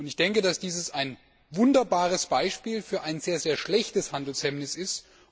Ich denke, dass dies ein wunderbares Beispiel für ein sehr schlechtes Handelshemmnis ist.